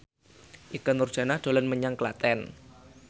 Ikke Nurjanah dolan menyang Klaten